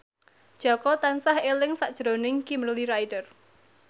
Jaka tansah eling sakjroning Kimberly Ryder